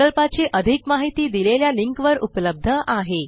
प्रकल्पाची अधिक माहिती दिलेल्या लिंकवर उपलब्ध आहे